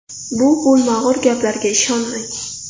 Bu bo‘lmag‘ur gaplarga ishonmang.